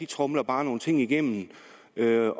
tromler bare nogle ting igennem